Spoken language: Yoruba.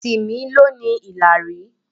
Timi lọ ní ìlarun.